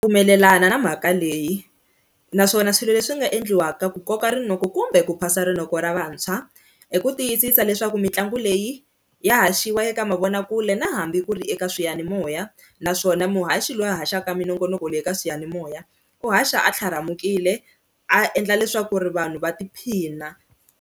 Pfumelelana na mhaka leyi naswona swilo leswi nga endliwaka ku koka rinoko kumbe ku phasa rinoko ra vantshwa i ku tiyisisa leswaku mitlangu leyi ya haxiwa eka mavonakule na hambi ku ri eka swiyanimoya, naswona muhaxi loyi a haxaka minongonoko leyi eka swiyanimoya u haxa a tlharamukile a endla leswaku ri vanhu va tiphina.